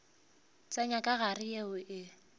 tsenya ka gare yeo e